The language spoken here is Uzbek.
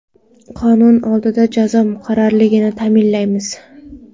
Qonun oldida jazo muqarrarligini ta’minlaymiz.